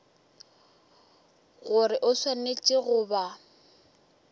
gore o swanetše go ba